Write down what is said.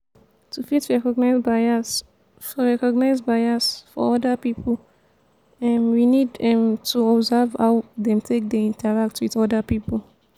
to fit recognize bias for recognize bias for oda pipo um we need um to observe how dem take dey interact with oda pipo